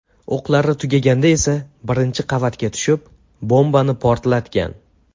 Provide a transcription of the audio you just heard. O‘qlari tugaganda esa birinchi qavatga tushib, bombani portlatgan.